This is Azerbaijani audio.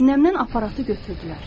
Sinəmdən aparatı götürdülər.